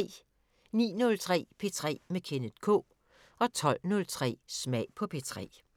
09:03: P3 med Kenneth K 12:03: Smag på P3